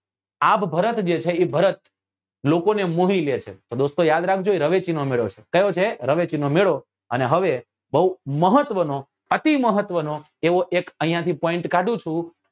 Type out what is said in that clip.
આભ ભરત જે છે એ ભરત લોકો ને મોહી લે છે તો દોસ્તો યાદ રાખજો એ રવેચી નો મેળો છે કયો છે રવેચી નો મેળો અને હવે બઉ મહત્વ નો અતિ મહત્વ નો અહિયાંથી point કાઢું છું